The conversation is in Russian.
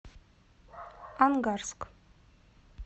ангарск